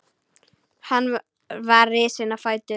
Hann var risinn á fætur.